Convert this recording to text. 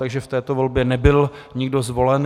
Takže v této volbě nebyl nikdo zvolen.